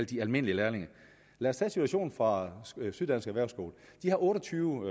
de almindelige lærlinge lad os tage situationen fra syddansk erhvervsskole de har otte og tyve